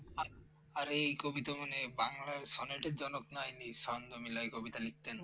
আর এই কবিতা মানে বাংলার sonnet জনক নয়, নিঃসন্দ মেলায় কবিতা লিখতেন।